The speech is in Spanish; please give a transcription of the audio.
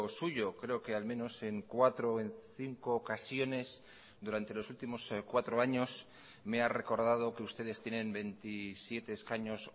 suyo creo que al menos en cuatro o en cinco ocasiones durante los últimos cuatro años me ha recordado que ustedes tienen veintisiete escaños